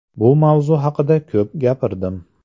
Bu mavzu haqida ko‘p gapirdim.